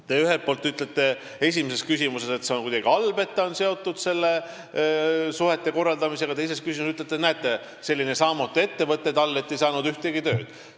Te ühelt poolt ütlesite esimeses küsimuses, et see on kuidagi halb, kui ta on seotud suhtekorraldusega, teisest küljest ütlete, et näete, selline saamatu ettevõte tal, et ei saanud ühtegi tööd.